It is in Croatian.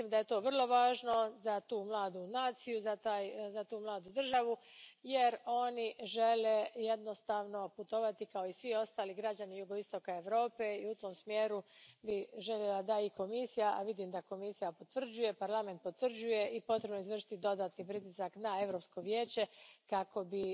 Mislim da je to vrlo važno za tu mladu naciju, za tu mladu državu jer oni žele jednostavno putovati kao i svi ostali građani jugoistoka Europe i u tom smjeru bih željela da i Komisija, a vidim da Komisija potvrđuje, Parlament potvrđuje, i potrebno je izvršiti dodatni pritisak na Europsko vijeće kako bi